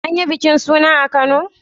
An yi bikin suna a kano?